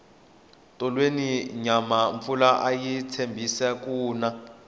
tolweni nyana mpfula ayi tshembisi ku na